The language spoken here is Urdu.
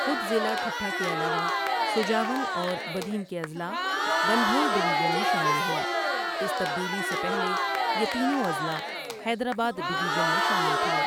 خود ضلع ٹھٹھہ کے علاوہ، سجاول اور بدین کے اضلاع بنبھور ڈویژن میں شامل ہیں اس تبدیلی سے پہلے، یہ تینوں اضلاع حیدرآباد ڈویژن میں شامل تھے ۔